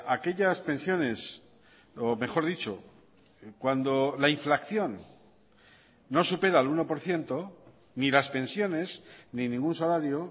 aquellas pensiones o mejor dicho cuando la inflación no supera el uno por ciento ni las pensiones ni ningún salario